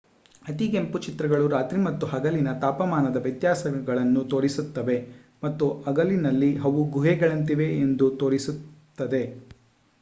ಅತಿಗೆಂಪು ಚಿತ್ರಗಳು ರಾತ್ರಿ ಮತ್ತು ಹಗಲಿನ ತಾಪಮಾನದ ವ್ಯತ್ಯಾಸಗಳನ್ನು ತೋರಿಸುತ್ತವೆ ಮತ್ತು ಹಗಲಿನಲ್ಲಿ ಅವು ಗುಹೆಗಳಂತಿವೆ ಎಂದು ತೋರಿಸುತ್ತದೆ